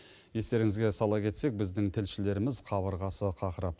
естеріңізге сала кетсек біздің тілшілеріміз қабырғасы қақырап